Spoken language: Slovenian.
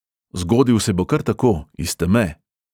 Zgodil se bo kar tako, iz teme.